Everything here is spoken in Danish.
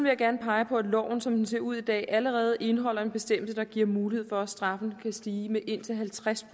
jeg gerne pege på at loven som den ser ud i dag allerede indeholder en bestemmelse der giver mulighed for at straffen kan stige med indtil halvtreds